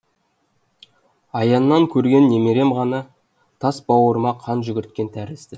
аяннан көрген немерем ғана тас бауырыма қан жүгірткен тәрізді